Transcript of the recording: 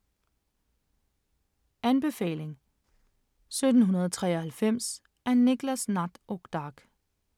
Anbefaling: 1793 af Niklas Natt och Dag